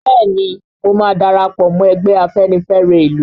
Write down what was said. Bẹ́ẹ̀ni mo ma darapọ̀ mọ́ ẹgbẹ́ Afenifẹre ìlú